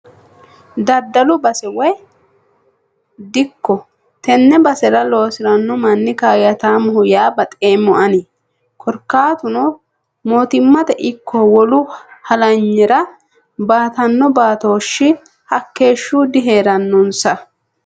Daddalu base woyi dikko, tene basera loosirano manni kayyattamaho yaa baxeemmo ani korkaatuno mootimate ikko wolootu halanyira baatano baatoshshi hakeeshshihu diheeranonsa.